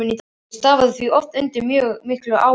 Ég starfaði því oft undir mjög miklu álagi.